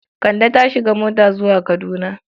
Kande ta shiga mota zuwa Kaduna.